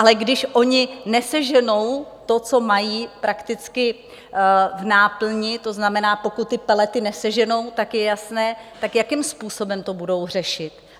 Ale když oni neseženou to, co mají prakticky v náplni, to znamená, pokud ty pelety neseženou, tak je jasné - tak jakým způsobem to budou řešit?